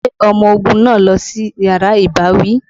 Gbé ọmọ ogun náà lọ sí yàrá ìbáwí!